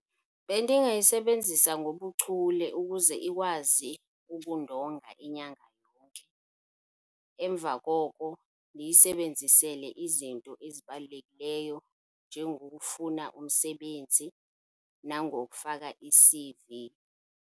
Bendingayisebenzisa ngobuchule ukuze ikwazi ukundonga inyanga yonke. Emva koko ndiyisebenzisele izinto ezibalulekileyo njengokufuna umsebenzi nangokufaka i-C_V.